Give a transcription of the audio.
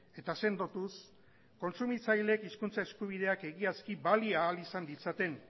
eta sendotuz kontsumitzaileek hizkuntza eskubideak egiazki balia ahal ditzaten